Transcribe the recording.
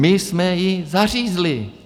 My jsme ji zařízli.